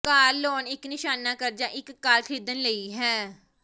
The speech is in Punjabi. ਕਾਰ ਲੋਨ ਇੱਕ ਨਿਸ਼ਾਨਾ ਕਰਜ਼ਾ ਇੱਕ ਕਾਰ ਖਰੀਦਣ ਲਈ ਹੈ